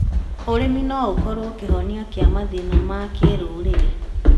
ũrĩmi no ũkorwo kĩhonia kĩa mathĩna ma kĩrũrĩrĩ.